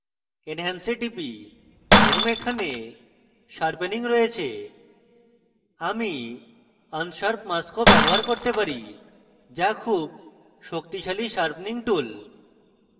enhance এ টিপি এবং এখানে sharpening রয়েছে আমি unsharp mask ও ব্যবহার করতে পারি যা খুব শক্তিশালী sharpening tool